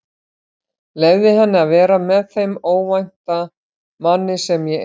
Leyfði henni að vera með þeim ókvænta manni sem ég er.